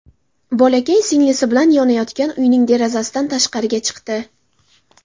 Bolakay singlisi bilan yonayotgan uyning derazasidan tashqariga chiqdi.